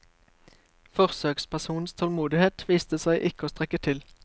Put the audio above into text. Forsøkspersonens tålmodighet viste seg ikke å strekke til.